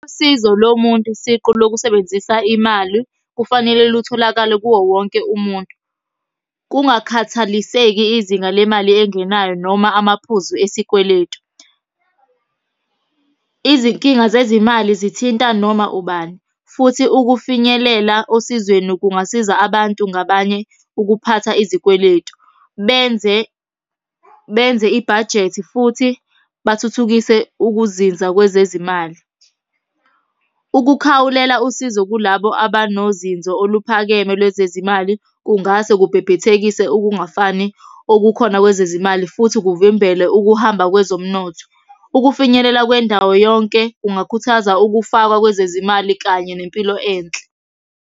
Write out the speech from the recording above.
Usizo lomuntu siqu lokusebenzisa imali, kufanele lutholakale kuwo wonke umuntu, Kungakhathaliseki izinga lemali engenayo noma amaphuzu esikweletu. Izinkinga zezimali zithinta noma ubani, futhi ukufinyelela osizweni kungasiza abantu ngabanye ukuphatha izikweletu. Benze benze ibhajethi futhi bathuthukise ukuzinza kwezezimali. Ukukhawulela usizo kulabo abanozinzo oluphakeme lwezezimali, kungase kubhebhethekise ukungafani okukhona kwezezimali, futhi kuvimbele ukuhamba kwezomnotho, Ukufinyelela kwendawo yonke kungakhuthaza ukufakwa kwezezimali kanye nempilo enhle.